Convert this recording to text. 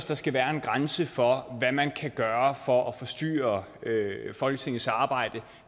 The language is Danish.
der skal være en grænse for hvad man kan gøre for at forstyrre folketingets arbejde